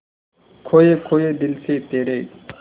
खोए खोए दिल से तेरे